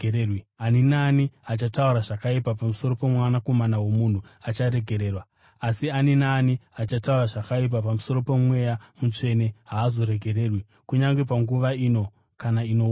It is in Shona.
Ani naani achataura zvakaipa pamusoro poMwanakomana woMunhu acharegererwa, asi ani naani achataura zvakaipa pamusoro poMweya Mutsvene haazoregererwi, kunyange panguva ino kana inouya.